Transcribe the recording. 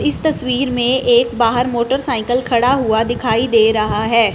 इस तस्वीर में एक बाहर मोटरसाइकिल खड़ा हुआ दिखाई दे रहा है।